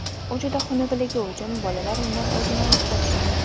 U juda xunukligi uchun bolalar undan o‘zini olib qochishadi.